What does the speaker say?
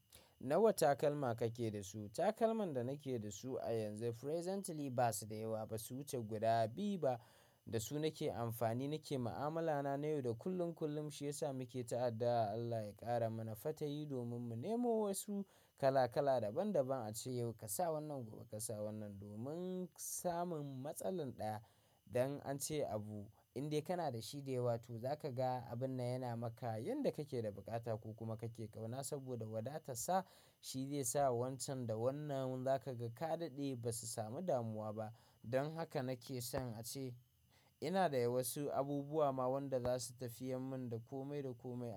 Nawa takalma kake da su? Takalman da nake da su a yanzu presently ba su da yawa ba, su wuce guda biyu ba. Da su nake amfani, nake ma'amalana na yau da kullum. Shi yasa muke ta addu'a Allah ya ƙara mana fatayi domin mu nemo wasu kala-kala daban-daban a ce, yau ka sa wannan gobe ka sa wannan. Domin samun matsalan ɗaya, don an ce abu indai kana da shi da yawa to zaka ga abun yana maka yanda kake da buƙata ko kuma kake ƙauna saboda wadata. Ta shi zai sa wancan da wannan za ka ga ka daɗe ba su samu damuwa ba. Don haka nake son a ce ina da wasu abubuwa ma wanda za su tafi yan min da komai da komai.